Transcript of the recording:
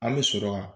An bɛ sɔrɔ ka